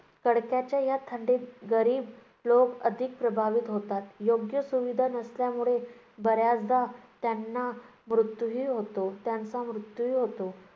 कडाक्याच्या या थंडीत गरीब लोक अधिक प्रभावित होतात. योग्य सुविधा नसल्यामुळे बऱ्याचदा त्यांना मृत्यूही होतो त्यांचा मृत्यूही होतो.